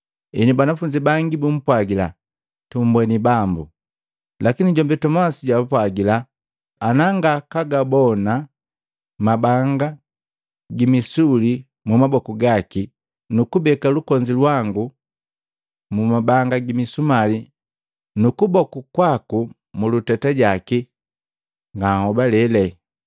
Henu banafunzi bangi bumpwagila, “Tumbweni Bambu.” Lakini jombi Tomasi jaapwagila, “Anangakagabona mabanga gi misumali mumaboku gaki nukubeka lukonzi lwagu mumabanga gimisumali nukuboku kwaku muluteta jaki, nganhobalele.”